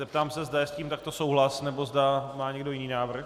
Zeptám se, zda je s tím takto souhlas, nebo zda má někdo jiný návrh.